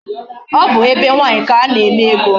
Ọ bụ be nwaanyị ka a na-eme ego.